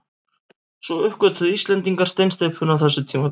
Svo uppgötvuðu Íslendingar steinsteypuna á þessu tímabili.